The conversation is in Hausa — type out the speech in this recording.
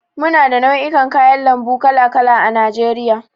Muna da nau'ikan kayan lambu kala kala a najeriya.